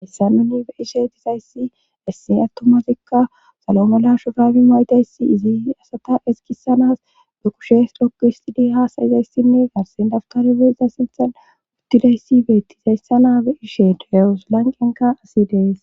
Hayssa nuni beishetizayssi essi attomafikka salomala shobaabi maytayssi izi asata eskisanas be kushes lokkohistidi haasayzayssinne garsen dafkarbe iza sinthan uttidayssi beettizayssa naabe ishe dawusolanqenka asi dees.